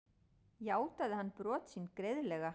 Játaði hann brot sín greiðlega